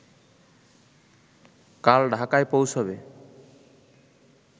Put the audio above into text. কাল ঢাকায় পৌঁছাবে